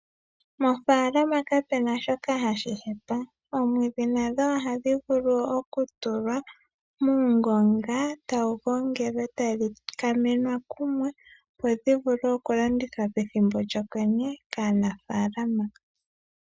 Mofaalama kamuna shoka hashi hepa. Omwiidhi nadho ohadhi vulu okutulwa muungonga tadhi gongelwa etadhi mangwelwa kumwe, opo dhi vule oku landithwa pethimbo lyokwenye kanafaalama.